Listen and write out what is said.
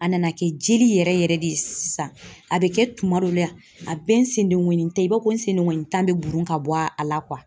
A nana kɛ jeli yɛrɛ yɛrɛ de ye sisan a bɛ kɛ tuma dɔ la a bɛ n senddengonin tan i b'a fɔ ko n sendengonin tan bɛ burun ka bɔ a la